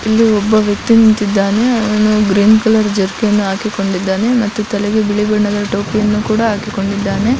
ಎಲ್ಲಿ ಒಬ್ಬ ವ್ಯಕ್ತಿ ನಿಂತಿದ್ದಾನೆ ಅವನು ಗ್ರೀನ್ ಜರ್ಕಿನ್ ಹಾಕಿಕೊಂಡಿದ್ದೇನೆ ಮತ್ತು ತಲೆಗೆ ಬಿಳಿ ಬಣ್ಣದ ಟೋಪಿಯನ್ನು ಹಾಕಿಕೊಂಡಿದ್ದಾನೆ.